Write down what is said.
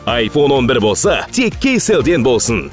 айфон он бір болса тек кейселден болсын